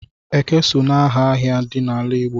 Eke so n'aha ahịa dị n'ala Igbo.